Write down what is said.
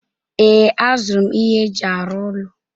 Ee, azụrụ m ihe eji arụ ụlọ.